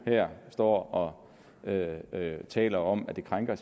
står her og taler om at det krænker